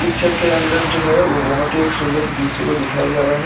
Picture के अंदर जो है वो बहुत ही एक सुंदर दृश्य को दिखाई जा रहा है।